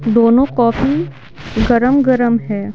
दोनों कॉफी गरम-गरम है।